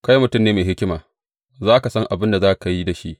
Kai mutum ne mai hikima; za ka san abin da za ka yi da shi.